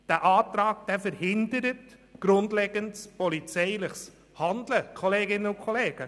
Der Antrag, den Herr Sancar vorgestellt hat, verhindert grundlegendes polizeiliches Handeln, liebe Kolleginnen und Kollegen.